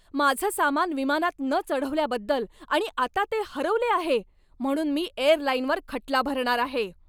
माझं सामान विमानात न चढवल्याबद्दल आणि आता ते हरवले आहे म्हणून मी एअरलाइनवर खटला भरणार आहे.